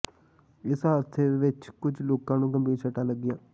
ਇਸ ਹਾਦਸੇ ਵਿੱਚ ਕੁਝ ਲੋਕਾਂ ਨੂੰ ਗੰਭੀਰ ਸੱਟਾਂ ਲੱਗੀਆਂ